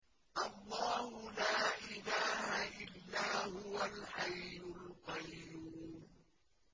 اللَّهُ لَا إِلَٰهَ إِلَّا هُوَ الْحَيُّ الْقَيُّومُ